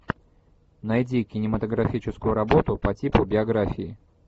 найди кинематографическую работу по типу биографии